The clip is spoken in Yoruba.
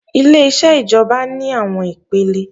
Ileṣẹ́ ìjọba ní àwọn ipele